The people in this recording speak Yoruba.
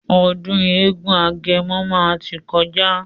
Ọdún eégún agẹmọ máa tí kọjá.